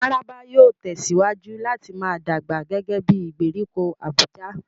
Mararaba yóò tẹ̀síwájú láti máa dàgbà gẹ́gẹ́ bí ìgbèríko Abuja.